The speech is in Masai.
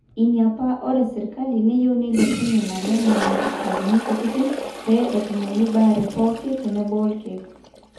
ina paa ore sirkali neyieu neilepunyie naleng nena sipitalini kutitik pee etumoyu baare pooki tenebo orkeek